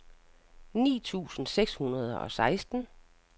ni tusind seks hundrede og seksten